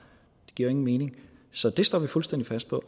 det giver jo ingen mening så det står vi fuldstændig fast på